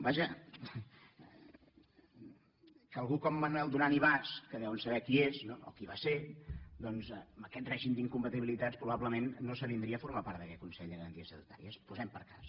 vaja que algú com manuel duran i bas que deuen saber qui és no o qui va ser doncs amb aquest règim d’incompatibilitats probablement no s’avindria a formar part d’aquest consell de garanties estatutàries posem per cas